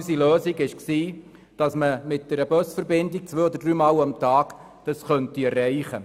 Unser Lösungsverschlag war, dies mit einer Busverbindung zwei- oder dreimal im Tag dies zu erreichen.